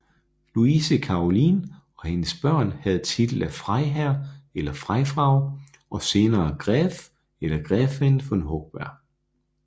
Luise Karoline og hendes børn havde titel af Freiherr eller Freifrau og senere Gräf eller Gräfin von Hochberg